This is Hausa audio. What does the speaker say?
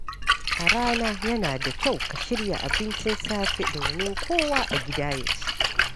A rana, yana da kyau ka shirya abincin safe domin kowa a gida ya ci.